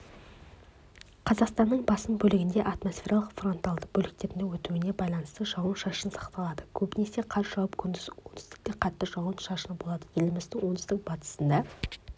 қазақстанның басым бөлігінде атмосфералық фронталды бөліктердің өтуіне байланысты жауын-шашын сақталады көбінесе қар жауып күндіз оңтүстікте қатты жауын-шашын болады еліміздің оңтүстік-батысында